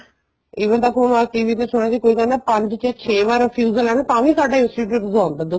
even ਤਾਂ ਵੀ ਅਸੀਂ ਵੀ ਫੇਰ ਸੁਣਿਆ ਸੀ ਕੋਈ ਕਹਿੰਦਾ ਪੰਜ ਤੇ ਛੇ ਵਾਰ refusal ਏ ਤਾਂ ਵੀ ਸਾਡਾ institute ਜਵਾਬ ਦਾ